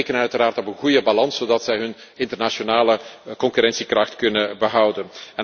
Wij rekenen uiteraard op een goede balans zodat zij hun internationale concurrentiekracht kunnen behouden.